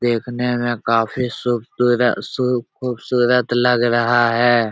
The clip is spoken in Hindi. देखने में काफी सु सूरत सु खूबसूरत लग रहा है।